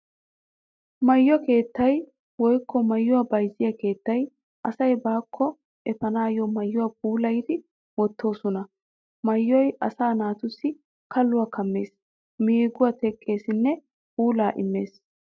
Maayo keettay woykko maayuwaa bayzziyaa keettay asaa baakko efaanawu maayuwaa puulayidi wottoosona. Maayoy asaa naatussi kalluwaa kammees, meeguwaa teqqeesinne puulaa immees.